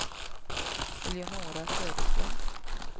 Eleonora Söderström